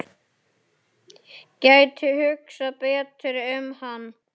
Gæti hugsað betur um hann.